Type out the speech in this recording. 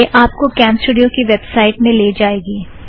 यह आप को कॅमस्टूड़ियो की वॅब साइट में ले जाएगी